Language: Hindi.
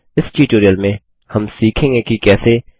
इस ट्यूटोरियल में हम सीखेंगे कि कैसे